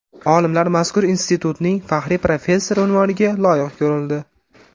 Olimlar mazkur institutning faxriy professori unvoniga loyiq ko‘rildi.